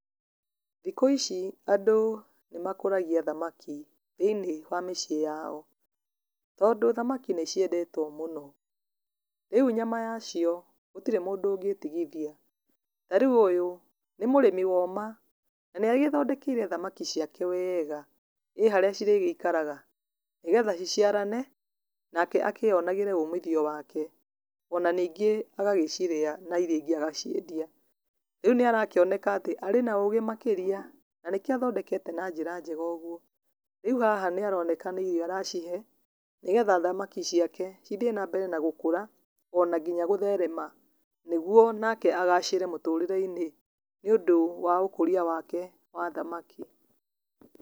Thikũ ici andũ nĩ makũragia thamaki thĩinĩ wa mĩciĩ yao, tondũ thamaki nĩ ciendetwo mũno, rĩu nyama yacio gũtirĩ mũndũ ũngĩmĩtigithia, ta rĩu ũyũ nĩ mũrĩmi woma, na nĩagĩthondekeire thamaki ciake wega, ĩĩ harĩa cirĩgĩikaraga nĩgetha ciciarane nake akĩyonere umithio wake, ona ningĩ agagĩciria na iria ingĩ agaciendia, rĩu nĩ arakĩoneka atĩ arĩ na ũgĩ makĩria, na kĩo athondekete na njĩra njega ũguo, rĩu haha nĩ aroneka nĩ irio aracihe nĩgetha thamaki ici ciake cithiĩ na mbere na gũkũra ona nginya gũtherema, nĩguo nake agacĩre mũtũrĩre-inĩ nĩ ũndũ wa ũkũrĩa wake wa thamaki.